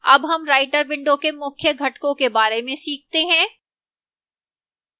अब हम writer window के मुख्य घटकों के बारे में सीखते हैं